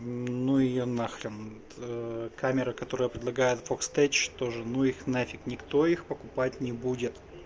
ну её нахрен камера которая предлагает фокс тейч тоже ну их нафиг никто их покупать не будет